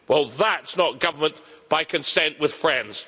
Well that's not government by consent with friends.